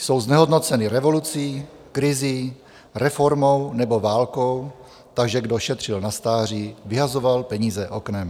Jsou znehodnoceny revolucí, krizí, reformou nebo válkou, takže kdo šetřil na stáří, vyhazoval peníze oknem.